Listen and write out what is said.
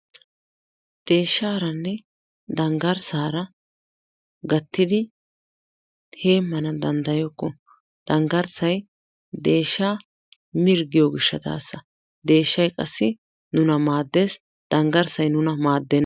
Deeshshaaranne dangarssaara gattidi heemana dandayokko, dangarssay deeshaa mirggiyo gishaasa deeshay qassi nuna maadees, dangarssay nuna maadenna.